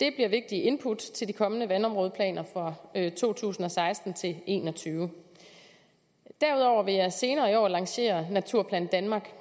det bliver vigtige input til de kommende vandområdeplaner for to tusind og seksten til en og tyve derudover vil jeg senere i år lancere naturplan danmark